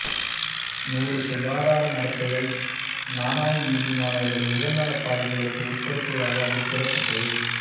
நூறு சுகாதார நடத்தைகள் நநஈதி மாணவர்களை உடல்நல பாதிப்புகளுக்கு உட்படுத்துவதாக அதில் கூறப்பட்டது